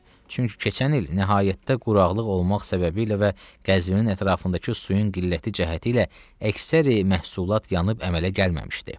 Çünki keçən il nəhayətdə quraqlıq olmaq səbəbilə və Qəzvinin ətrafındakı suyun qilləti cəhəti ilə əksəri məhsulat yanıb əmələ gəlməmişdi.